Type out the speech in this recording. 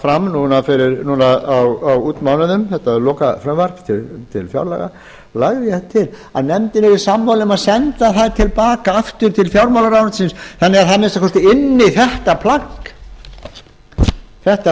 fram á útmánuðum þetta lokafrumvarp til fjárlaga lagði ég það til að nefndin yrði sammála um að senda það til baka aftur til fjármálaráðuneytisins þannig að það að minnsta kosti ynni þetta